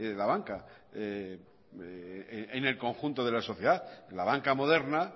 la banca en el conjunto de la sociedad la banca moderna